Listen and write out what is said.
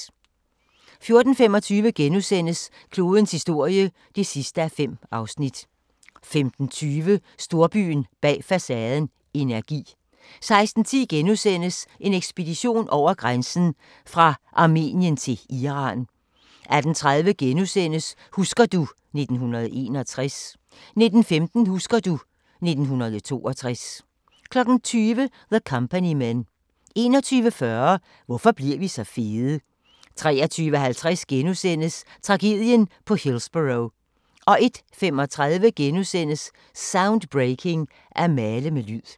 14:25: Klodens historie (5:5)* 15:20: Storbyen bag facaden – energi 16:10: En ekspedition over grænsen: Fra Armenien til Iran * 18:30: Husker du ... 1961 * 19:15: Husker du ... 1962 20:00: The Company Men 21:40: Hvorfor bliver vi så fede? 23:50: Tragedien på Hillsborough * 01:35: Soundbreaking – At male med lyd *